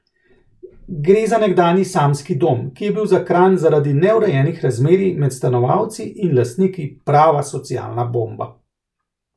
Gre za nekdanji samski dom, ki je bil za Kranj zaradi neurejenih razmerij med stanovalci in lastniki prava socialna bomba.